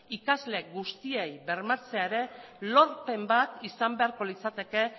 ikasle guztiei bermatzea ere lorpen bat izan beharko litzateke